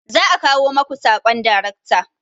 Za'a kawo maku sakon daracta